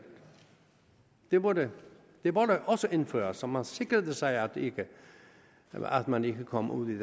det burde også indføres så man sikrede sig at man ikke kom ud